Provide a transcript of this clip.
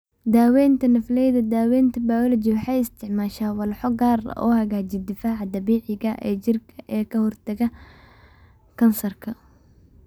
Daaweynta Nafleyda Daawaynta bayooloji waxay isticmaashaa walxo gaar ah oo hagaajiya difaaca dabiiciga ah ee jirka ee ka hortagga kansarka.